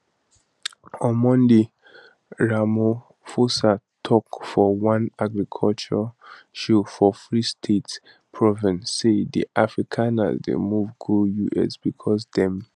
on monday ramaphosa tok for one agriculture show for free state province say di afrikaners dey move go us because dem